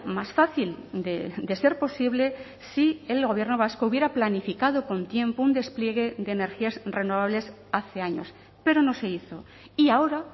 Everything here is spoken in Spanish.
más fácil de ser posible si el gobierno vasco hubiera planificado con tiempo un despliegue de energías renovables hace años pero no se hizo y ahora